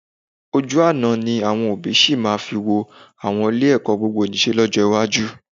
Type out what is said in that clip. Ojú àná ni àwọn òbí sì máa fi wo àwọn Ilé-ẹ̀kọ́ gbogbonìṣe lọ́jọ́ iwájú